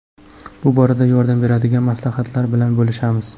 Bu borada yordam beradigan maslahatlar bilan bo‘lishamiz.